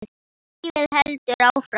Lífið heldur áfram.